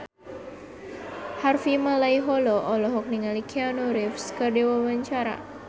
Harvey Malaiholo olohok ningali Keanu Reeves keur diwawancara